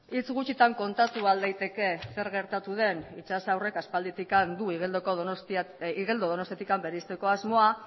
hitz gutxitan kontatu ahal daiteke zer gertatu den itxas aurrek aspalditik du igeldo donostiatik bereizteko asmoa